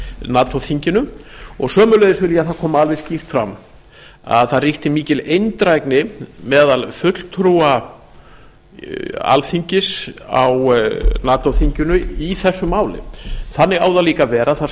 nato þinginu og sömuleiðis vil ég að það komi alveg skýrt fram að það ríkti mikil eindrægni meðal fulltrúa alþingis á nato þinginu í þessu máli þannig á það líka að vera það